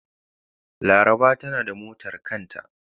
Laraba tanada motar kanta.